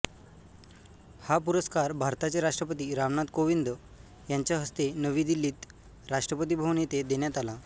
हा पुरस्कार भारताचे राष्ट्रपती रामनाथ कोविंद यांच्या हस्ते नवी दिल्लीत राष्ट्रपती भवन येथे देण्यात आला